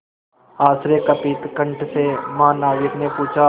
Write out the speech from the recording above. आश्चर्यकंपित कंठ से महानाविक ने पूछा